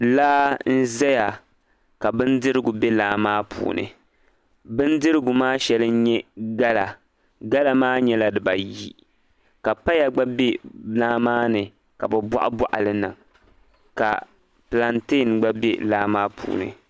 laa n-zaya ka bindirigu be laa maa puuni bindirigu maa shɛli n-nyɛ gala gala maa nyɛla dibaayi ka paya gba be laa maa ni ka bɛ bɔɣibɔɣi li niŋ ka pilantein gba be laa maa puuni